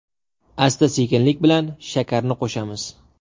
Asta-sekinlik bilan shakarni qo‘shamiz.